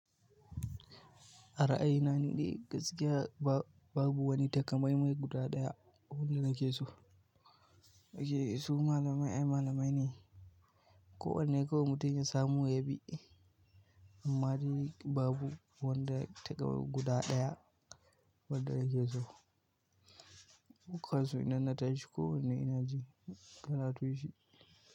A ra'ayi na ni ɗai gaskiya babu wani takamaimai guda ɗaya abunda nake so. Ok su malamai ai malamai ne. Kowanne kawai mutum ya samu ya bi. Amma dai babu wanda takamaimai guda ɗaya wanda nake so. Dukan su inna tashi kowanne inajin karatunshi.